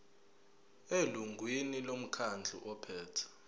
elungwini lomkhandlu ophethe